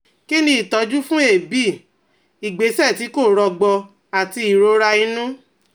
Kí ni ìtọ́jú fún èébì, ìgbésẹ̀ tí kò rọgbọ àti ìrora inú?